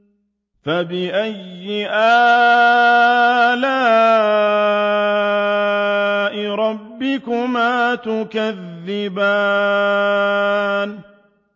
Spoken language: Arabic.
فَبِأَيِّ آلَاءِ رَبِّكُمَا تُكَذِّبَانِ